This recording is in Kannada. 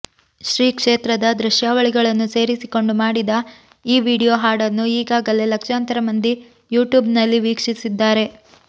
ಶ್ರೀ ಕ್ಷೇತ್ರದ ದೃಶ್ಯಾವಳಿಗಳನ್ನು ಸೇರಿಸಿಕೊಂಡು ಮಾಡಿದ ಈ ವಿಡಿಯೋ ಹಾಡನ್ನು ಈಗಾಗಲೇ ಲಕ್ಷಾಂತರ ಮಂದಿ ಯೂಟ್ಯೂಬ್ನಲ್ಲಿ ವೀಕ್ಷಿಸಿದ್ದಾರೆ